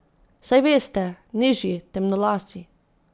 Saj veste, nižji, temnolasi.